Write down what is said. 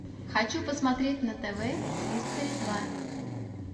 хочу посмотреть на тв хистори два